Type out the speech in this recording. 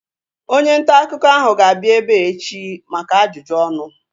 Onye ntaakụkọ ahu ga-abịa ebea echi maka ajụjụ ọnụ